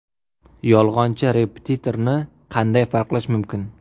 Yolg‘onchi repetitorni qanday farqlash mumkin?